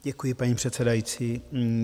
Děkuji, paní předsedající.